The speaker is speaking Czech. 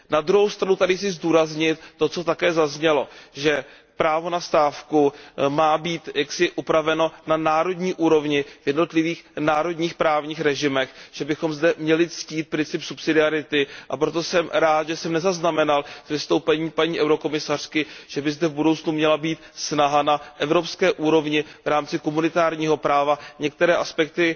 Na druhou stranu tady chci zdůraznit, to co také zaznělo, že právo na stávku má být jaksi upraveno na národní úrovni v jednotlivých národních právních režimech, že bychom zde měli ctít princip subsidiarity, a proto jsem rád, že jsem nezaznamenal z vystoupení paní komisařky, že by zde v budoucnu měla být snaha na evropské úrovni v rámci komunitárního práva některé aspekty